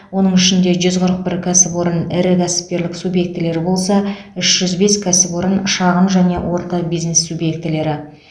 оның ішінде жүз қырық бір кәсіпорын ірі кәсіпкерлік субъектілері болса үш жүз бес кәсіпорын шағын және орта бизнес субъектілері